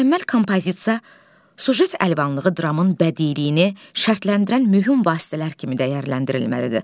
Mükəmməl kompozisiya, süjet əlvanlığı dramın bədiliyinə şərtləndirən mühüm vasitələr kimi dəyərləndirilməlidir.